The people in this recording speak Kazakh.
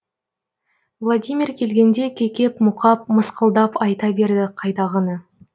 владимир келгенде кекеп мұқап мысқылдап айта берді қайдағыны